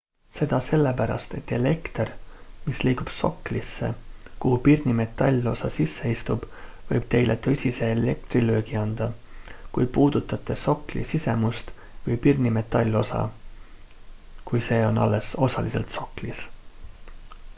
seda sellepärast et elekter mis liigub soklisse kuhu pirni metallosa sisse istub võib teile tõsise elektrilöögi anda kui puudutate sokli sisemust või pirni metallosa kui see on alles osaliselt soklis